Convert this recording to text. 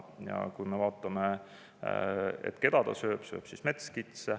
Ja vaatame, keda hunt sööb – sööb metskitse.